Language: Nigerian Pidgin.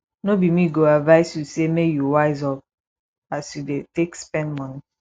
no be me go advise you sey make you wise up as you dey take spend moni